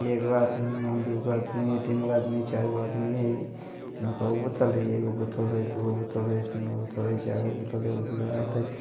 एगो आदमी हइ दु गो आदमी हइ तीन गो आदमी हइ चार गो आदमी हइ एमें कई गो बोतल हइ एगो बोतल हइ दु गो हइ तीन गो बोतल है चार गो बोतल हइ एगो गिलास हइ।